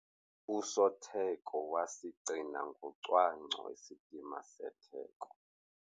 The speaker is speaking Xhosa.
Usotheko wasigcina ngocwangco isidima setheko.